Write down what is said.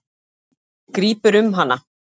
Hann grípur um hana.